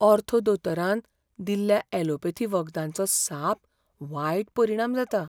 Ortho दोतोरान दिल्ल्या allopathy वखदांचो साप वायट परिणाम जाता.